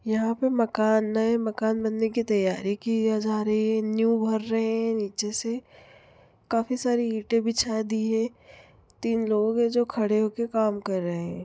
यहाँ पे मकान है मकान बनने की तैयारी की जा रही है नीव भर रहे है नीचे से काफी सारी ईटें बिछा दी है तीन लोग है जो खड़े हो कर काम कर रहे है।